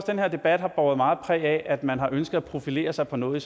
den her debat har båret meget præg af at man har ønsket at profilere sig på noget